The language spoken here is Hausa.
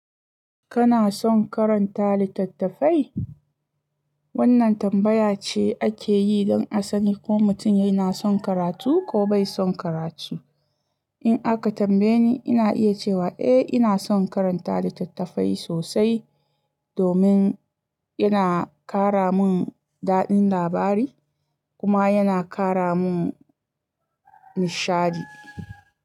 Kana son karanta littattafai? Wannan tambaya ce ake yi don a sani ko mutum yana son karatu ko bai son karatu. In aka tambaye ni, ina iya cewa eh ina son karanta littattafai sosai domin yana kara mun daɗin labari kuma yana kara mun nishadi.